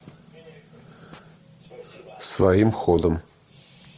своим ходом